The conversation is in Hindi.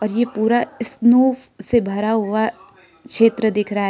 ये पूरा स्नो से भरा हुआ छेत्र दिख रहा है।